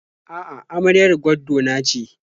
A'a, amaryar gwaddo na ce.